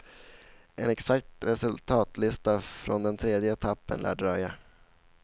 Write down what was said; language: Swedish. En exakt resultatlista från den tredje etappen lär dröja.